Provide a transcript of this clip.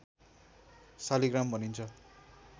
शालिग्राम भनिन्छ